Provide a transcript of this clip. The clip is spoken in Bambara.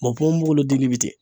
ponponpogolon dili bɛ ten